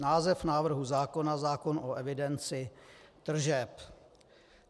Název návrhu zákona: Zákon o evidenci tržeb.